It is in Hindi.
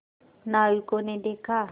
नाविकों ने देखा